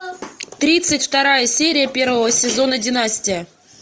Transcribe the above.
тридцать вторая серия первого сезона династия